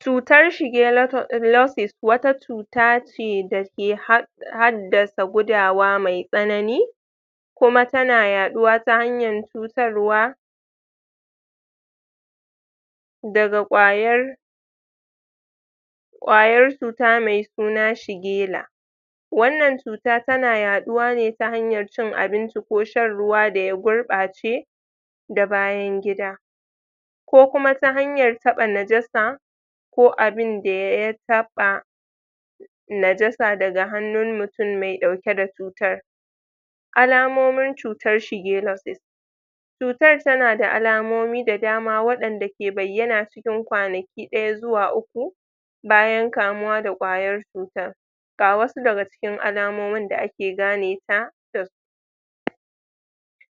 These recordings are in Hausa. cutar shigela[um] losis wata cuta ce da ke had haddasa gudawa me tsanani kuma tana yaduwa ta hanyar cutarwa daga kwayar kwayar cuta me suna shigela wannan cuta tana yaduwa ne ta hanyan cin abinci ko shan ruwa da ya gurbace da bayan gida ko kuma ta hanyar taba najasa ko abinda ya taba najasa daga hannun mutum me dauke da cutar alamomin cutar shigelosis cutar tana da alamomi da dama wadanda ke bayyana tun kwanaki daya zuwa uku bayan kamuwa da kwayar cutar ga wasu daga cikin alamomin da ake ganeta?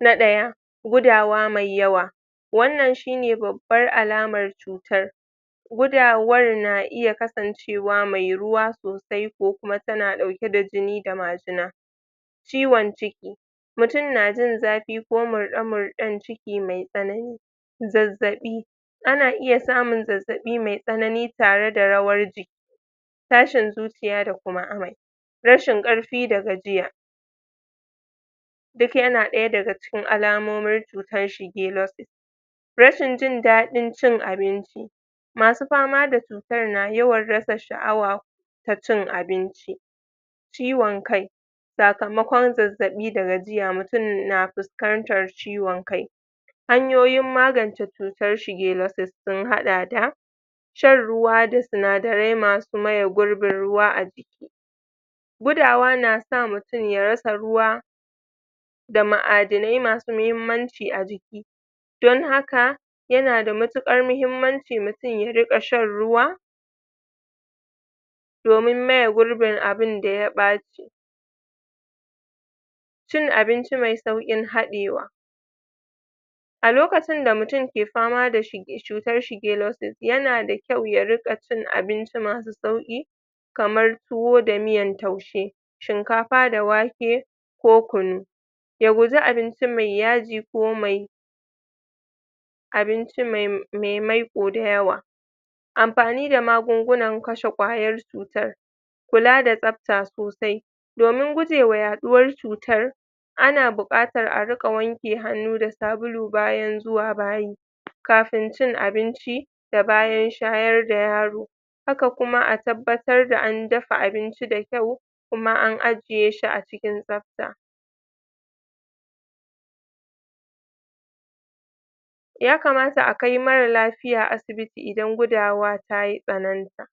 na daya gudawa me yawa wannan shine bab bar alamar cutar gudawar na iya kasancewa cewa me ruwa sosai ko kuma tana dauke da jini da majina ciwon ciki mutum na jin zafi ko murde murden ciki me tsanani zazzabi ana iya samun zazzabi me tsanani tare da rawar jiki tashin zuciya da kuma amai rashin karfi da gajiya duk yana daya daga daga cikin alamomin cutar shigelosis rashin jin dadin cin abinci masu fama da cutar na rasa yawan shaawa ta cin abinci ciwon kai sakamakon zazzabi da gajiya mutum na fuskantar ciwon kai hanyoyin magance cutar shigelosis sun hada da shan ruwa da sinadarai masu maye gurbin ruwa a gudawa na sa mutum ya rasa ruwa da ma'adanai masu mahimmanci a jiki don haka yana da matukar mahimmanci mutum ya rika shan ruwa domin maye gurbin abunda ya bace cin abinci me saukin hadewa a lokacin da mutum ya ke fama da cutar shigelosis yana da kyau ya dunga cin abinci masu sauki kamar tuwo da miyan taushe shinkafa da wake ko kunu ya guji abinci me yaji ko mai abinci me maiko da yawa amfani da magungunan kashe kwayar cutar kula da tsabta sosai domin gujewa yaduwar cutar ana bukatar a riga wanke hannu da sabulu bayan zuwa bayi kafin cin abinci da bayan shayar da yaro haka kuma a tabbatar da an dafa abinci da kyau kuma an ajiyeshi a cikin tsabta ya kamata a kai marasa lafiya asibiti idan gudawa ta tsananta